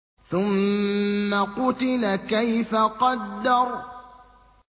ثُمَّ قُتِلَ كَيْفَ قَدَّرَ